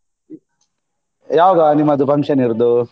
ಯಾವಾಗ ನಿಮ್ಮದು function ಇರುದು?